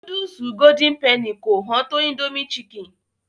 Núdùsù Golden penny kò hán tó Indomie chicken.